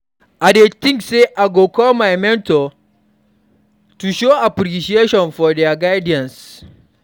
I dey think say I go call my mentor to show appreciation for dia guidance.